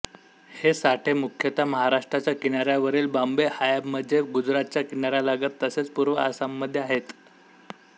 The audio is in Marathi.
हे साठे मुख्यत्वे महाराष्ट्राच्या किनाऱ्यावरील बॉम्बे हायमध्ये गुजरातच्या किनाऱ्यालगत तसेच पूर्व आसाममध्ये आहेत